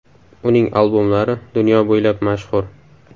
Uning albomlari dunyo bo‘ylab mashhur.